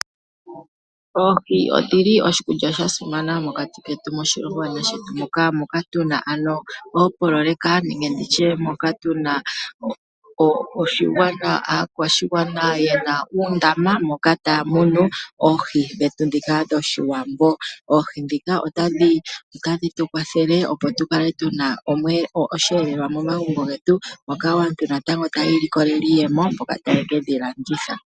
Oohi odhili oshikulya sha simana mokati ketu moshilongo shetu, moka tuna oopololeka nenge moka tuna aakwashigwana yena uundama moka taya munu oohi dhoshiwambo . Oohi dhika otadhi tukwathele opo tukale tuna osheelelwa momagumbo getu moka aantu natango taya ikolelemo iiyemo mboka ta ye kedhi landitha.